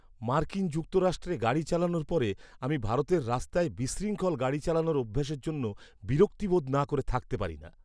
মার্কিন যুক্তরাষ্ট্রে গাড়ি চালানোর পরে, আমি ভারতের রাস্তায় বিশৃঙ্খল গাড়ি চালানোর অভ্যাসের জন্য বিরক্তি বোধ না করে থাকতে পারি না!